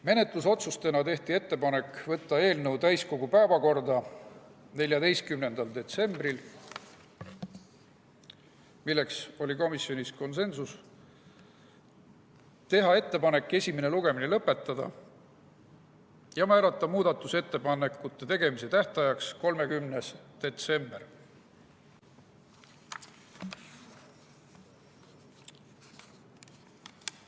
Menetlusotsustena tehti ettepanek võtta eelnõu täiskogu päevakorda 14. detsembril, milles oli komisjonis konsensus, teha ettepanek esimene lugemine lõpetada ja määrata muudatusettepanekute tegemise tähtajaks 30. detsember.